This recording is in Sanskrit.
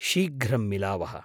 शीघ्रं मिलावः।